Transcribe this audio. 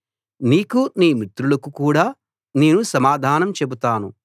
నీకూ నీ మిత్రులకు కూడా నేను సమాధానం చెబుతాను